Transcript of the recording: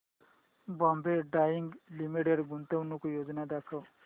Bombay dyeing limited गुंतवणूक योजना दाखव